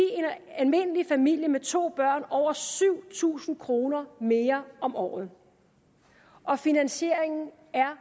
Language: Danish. almindelig familie med to børn over syv tusind kroner mere om året og finansieringen